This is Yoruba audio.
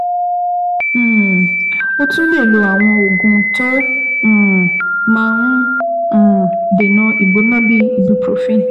um O tún lè lo àwọn oògùn tó um máa ń um dènà ìgbóná bíi Ibuprofen